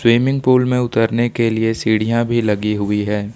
Swimming pool में उतरने के लिए सीढ़ियां भी लगी हुई है।